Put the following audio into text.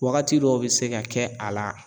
Wagati dɔw bɛ se ka kɛ a la